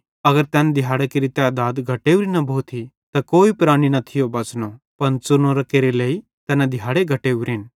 अगर तैन दिहाड़ां केरि तैधात घटेवरी न भोथी त कोई प्राणी न थियो बच़ानो पन च़ुनोरां केरे लेइ तैना दिहाड़े घटेवरेन